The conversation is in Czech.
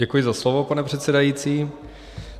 Děkuji za slovo, pane předsedající.